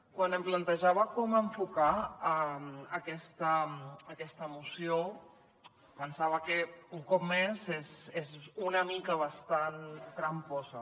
quan em plantejava com enfocar aquesta moció pensava que un cop més és una mica bastant tramposa